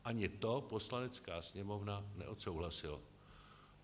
Ani to Poslanecká sněmovna neodsouhlasila.